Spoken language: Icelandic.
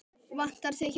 Vantar þig hjálp?